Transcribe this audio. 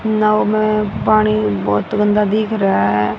नाव है पानी बहोत गंदा दिख रहा--